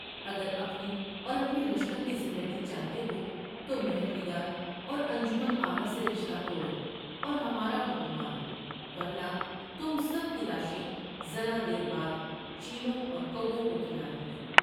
اگر اپنی اور اپنے لشکر کی زندگی چاہتے ہو تو مہر نگار اور انجمن آرا سے رشتہ توڑو اور ہمارا حکم مانو ورنہ تم سب کی لاشیں ذرا دیر بعد چیلوں اورکووں کھلا دوں گی ۔